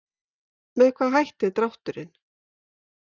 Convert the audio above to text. Með hvaða hætti er drátturinn?